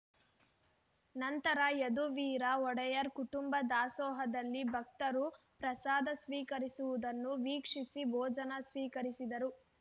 ನಂತರ ಯದುವೀರ ಒಡೆಯರ್ ಕುಟುಂಬ ದಾಸೋಹದಲ್ಲಿ ಭಕ್ತರು ಪ್ರಸಾದ ಸ್ವೀಕರಿಸುವುದನ್ನು ವೀಕ್ಷಿಸಿ ಭೋಜನ ಸ್ವೀಕರಿಸಿದರು